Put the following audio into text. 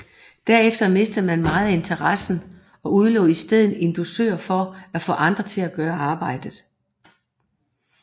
Derefter mistede man meget af interessen og udlovede i stedet en dusør for at få andre til at gøre arbejdet